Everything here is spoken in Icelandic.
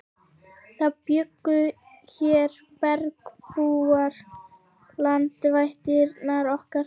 Það bjuggu hér bergbúar, landvættirnar okkar.